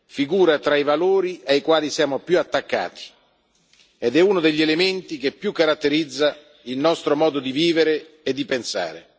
figura tra i valori ai quali siamo più attaccati ed è uno degli elementi che più caratterizza il nostro modo di vivere e di pensare.